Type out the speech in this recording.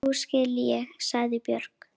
Nú skil ég, sagði Björg.